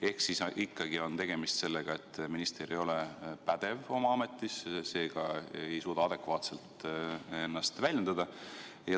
Ehk siis ikkagi on tegemist sellega, et minister ei ole pädev oma ametis, seega ei suuda ta adekvaatselt ennast väljendada.